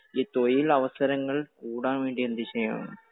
ഈ തൊഴിലവസരങ്ങൾ കൂടാൻ വേണ്ടി എന്ത് ചെയ്യണം?